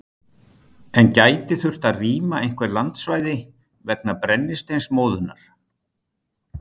En gæti þurft að rýma einhver landsvæði vegna brennisteinsmóðunnar?